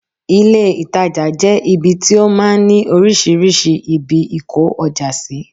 ilé ìtajà jẹ ibi tí ó máa ń ni oríṣiríṣi ibi ìkó ọjà sí